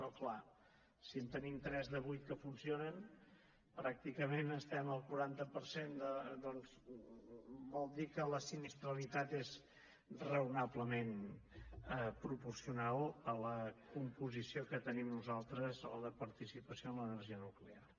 oh clar si en tenim tres de vuit que funcionen pràcticament estem al quaranta per cent doncs vol dir que la sinistralitat és raonablement proporcional a la composició que tenim nosaltres o a la participació en l’energia nuclear